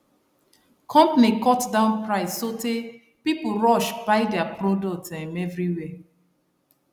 company cut down price sotey people rush buy their product um everywhere